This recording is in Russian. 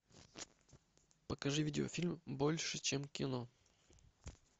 покажи видеофильм больше чем кино